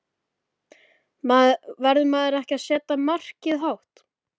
Verður maður ekki að setja markið hátt?